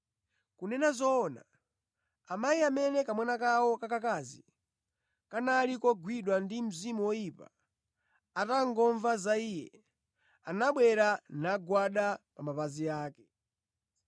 Kunena zoona, amayi amene kamwana kawo kakakazi kanali kogwidwa ndi mzimu woyipa, atangomva za Iye, anabwera nagwada pa mapazi ake.